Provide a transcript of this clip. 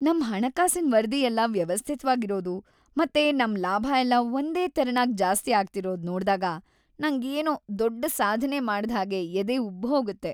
ನಮ್ ಹಣಕಾಸಿನ್ ವರದಿ ಎಲ್ಲ ವ್ಯವಸ್ಥಿತ್ವಾಗ್‌ ಇರೋದು ಮತ್ತೆ ನಮ್ ಲಾಭ ಎಲ್ಲ ಒಂದೇ ತೆರನಾಗ್ ಜಾಸ್ತಿ ಆಗ್ತಿರೋದ್ ನೋಡ್ದಾಗ ನಂಗೆ ಏನೋ ದೊಡ್ಡ್‌ ಸಾಧ್ನೆ ಮಾಡ್ದ್‌ ಹಾಗೆ ಎದೆ ಉಬ್ಬ್‌ಹೋಗತ್ತೆ.